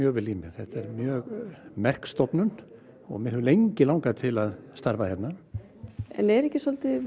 þetta er mjög merk stofnun og mig hefur lengi langað til að starfa hérna en er ekki